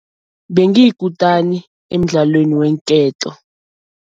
Bengiyikutani emdlaweni weenketo.